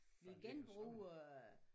Vi genbruger